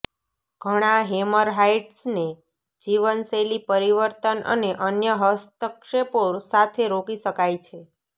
ઘણા હેમરહાઈડ્સને જીવનશૈલી પરિવર્તન અને અન્ય હસ્તક્ષેપો સાથે રોકી શકાય છે